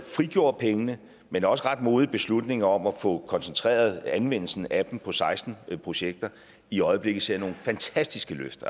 frigjorde pengene men også ret modigt beslutningen om at få koncentreret anvendelsen af dem på seksten projekter i øjeblikket ser nogle fantastiske løft